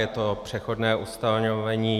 Je to přechodné ustanovení.